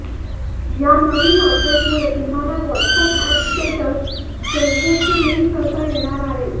या नवीन अपडेटमुळे तुम्हाला व्हॉट्स ऍप स्टेटस फेसबुकशी लिंक करता येणार आहे